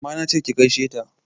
Amma nache ki gaishe ta!